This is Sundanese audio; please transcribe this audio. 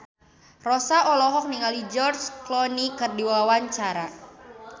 Rossa olohok ningali George Clooney keur diwawancara